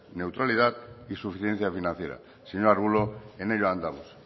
neutralidad y suficiencia financiera señor arbulo en ello andamos